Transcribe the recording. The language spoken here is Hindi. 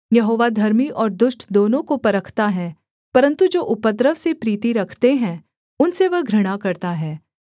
यहोवा धर्मी और दुष्ट दोनों को परखता है परन्तु जो उपद्रव से प्रीति रखते हैं उनसे वह घृणा करता है